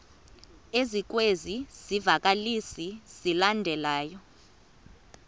ezikwezi zivakalisi zilandelayo